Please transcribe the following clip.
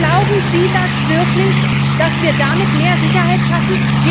Glauben Sie das wirklich, dass wir damit mehr Sicherheit schaffen?